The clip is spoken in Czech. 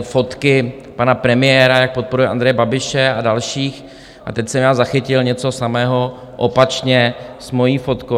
fotky pana premiéra, jak podporuje Andreje Babiše a další, a teď jsem já zachytil něco samého opačně s mojí fotkou.